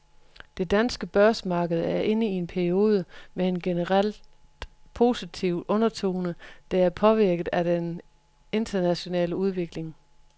Det danske børsmarked er inde i en periode med en generelt positiv undertone, der er påvirket af den internationale udvikling.